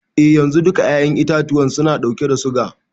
Eh yanzu, duka 'ya'yan itatuwa suna ɗauke da suga.